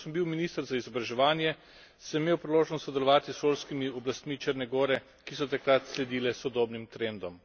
Ko sem bil minister za izobraževanje, sem imel priložnost sodelovati s šolskimi oblastmi Črne gore, ki so takrat sledile sodobnim trendom.